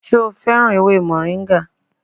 Ṣé o féràn ewé moringa?